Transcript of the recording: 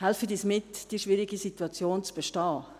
Helfen Sie uns, diese schwierige Situation zu bestehen.